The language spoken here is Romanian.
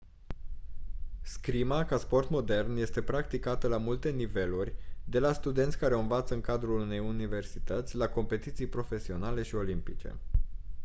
scrima ca sport modern este practicată la multe niveluri de la studenți care o învață în cadrul unei universități la competiții profesionale și olimpice